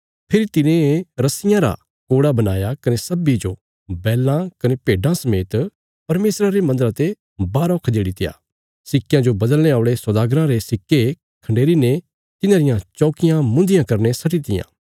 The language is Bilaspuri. फेरी तिने रस्सियां रा कोड़ा बणाया कने सब्बीं जो बैलां कने भेड्डां समेत परमेशरा रे मन्दरा ते बाहरौ खदेड़ीत्या सिक्कयां जो बदलने औल़े सौदागराँ रे सिक्के खन्डेरीने तिन्हांरियां चौकियां मुन्धियां करीने सट्टीतियां